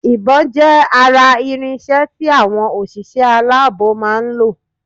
Ìbón jé ara irinsé tí àwọn òṣìṣẹ́ aláàbò máa nlò